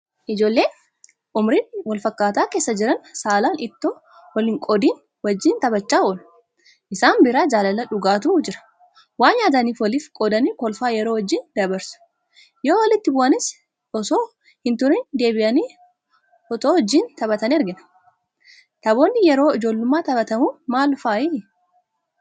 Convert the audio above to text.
Ijoolleen ummurii walfakkaataa keessa jiran saalaan itoo walhinqoodin wajjin taphachaa oolu. Isaan bira jaalala dhugaatu jira. Waan nyaatanis waliif qoodanii kolfaa yeroo wajjin dabarsu. Yoowalitti bu'anis itoo hinturin deebi'anii itoo wajjin taphatanii argina. Taphoonni yeroo ijoollummaa taphatamu maal fa'aati?